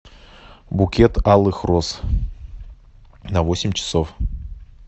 букет алых роз на восемь часов